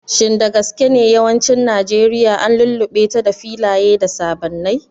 Shin da gaske ne yawancin Najeriya an lullube ta da filaye da sabannai?